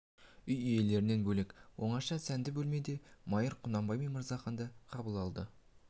үй иелерінен бөлек оңаша сәнді бөлмеде майыр құнанбай мен мырзаханды қабыл алды